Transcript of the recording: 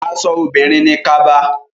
Aṣọ obìnrin ni kaba.